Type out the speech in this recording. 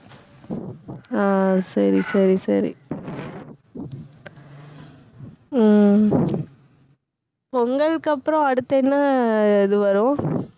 ஆஹ் சரி, சரி, சரி உம் பொங்கலுக்கு அப்புறம் அடுத்து என்ன இது வரும்